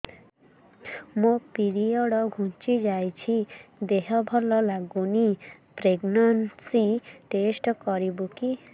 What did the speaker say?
ମୋ ପିରିଅଡ଼ ଘୁଞ୍ଚି ଯାଇଛି ଦେହ ଭଲ ଲାଗୁନି ପ୍ରେଗ୍ନନ୍ସି ଟେଷ୍ଟ କରିବୁ କି